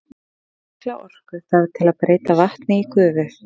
Mikla orku þarf til að breyta vatni í gufu.